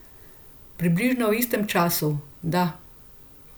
Približno v istem času, da.